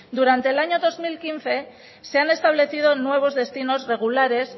durante el año dos mil quince se han establecido nuevos destinos regulares